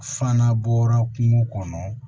Fana bɔra kungo kɔnɔ